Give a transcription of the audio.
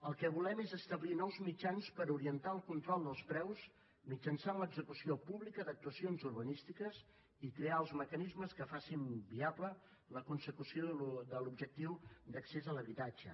el que volem és establir nous mitjans per orientar el control dels preus mitjançant l’execució pública d’actuacions urbanístiques i crear els mecanismes que facin viable la consecució de l’objectiu d’accés a l’habitatge